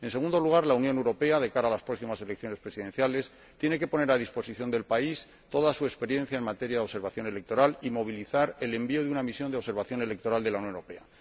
En segundo lugar, la Unión Europea, de cara a las próximas elecciones presidenciales, tiene que poner a disposición del país toda su experiencia en materia de observación electoral y movilizar el envío de una misión de observación electoral de la Unión Europea.